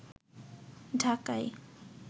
ঢাকায়